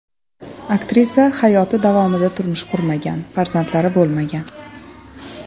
Aktrisa hayoti davomida turmush qurmagan, farzandlari bo‘lmagan.